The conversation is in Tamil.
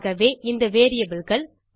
ஆகவே இந்த வேரியபிள் கள்